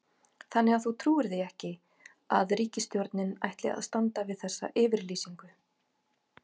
Þannig að þú trúir því ekki að ríkisstjórnin ætli að standa við þessa yfirlýsingu?